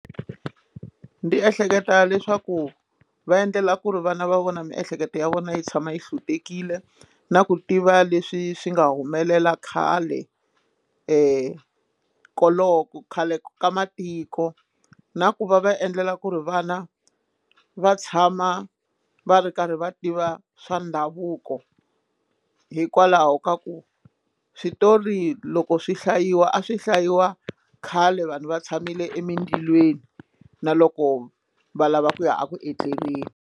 Ndi ehleketa leswaku va endlela ku ri vana va vona miehleketo ya vona yi tshama yi hlutekile na ku tiva leswi swi nga humelela khale koloko khale ka matiko na ku va va endlela ku ri vana va tshama va ri karhi va tiva swa ndhavuko hikwalaho ka ku switori loko swi hlayiwa a swi hlayiwa khale vanhu va tshamile emindilweni na loko va lava ku ya eku etleleni.